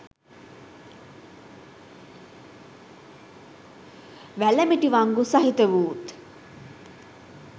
වැලමිටි වංගු සහිතවුත්